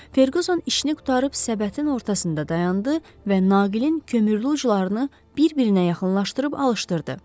Ferquzon işini qurtarıb səbətin ortasında dayandı və naqilin kömürlü uclarını bir-birinə yaxınlaşdırıb alışdırdı.